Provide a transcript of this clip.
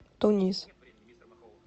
тунис